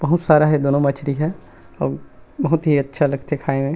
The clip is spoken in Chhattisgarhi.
बहुत सारा हे दोनो मछली ह अऊ बहुत ही अच्छा लगथे खाये में--